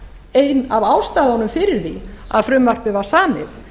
ein af ástæðunum fyrir því að frumvarpið var samið